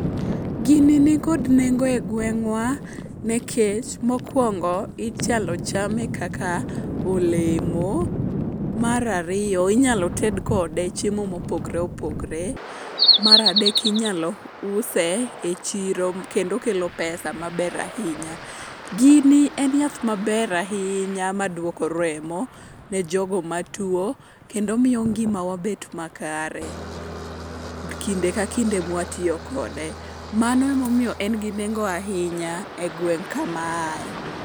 Gini nikod nengo e gweng'wa nikech mokwongo, inyalo chame kaka olemo. Mar ariyo, inyalo ted kode chiemo mopogore opogore. Mar adek, inyalo use e chiro kendo okelo pesa maber ahinya. Gini en yath maber ahinya madwoko remo ne jogo matuwo kendo miyo ngimawa bet makare kinde ka kinde mwatiyo kode. Mano emomiyo en gi nengo ahinya e gweng' kama aaye.